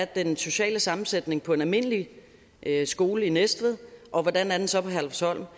den sociale sammensætning er på en almindelig skole i næstved og hvordan den så er på herlufsholm